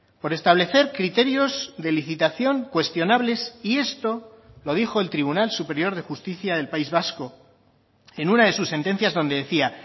por establecer criterios de licitación cuestionables y esto lo dijo el tribunal superior de justicia del país vasco en una de sus sentencias donde decía